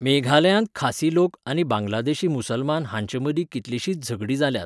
मेघालयांत खासी लोक आनी बांगलादेशी मुसलमान हांचे मदीं कितलींशींच झगडीं जाल्यांत.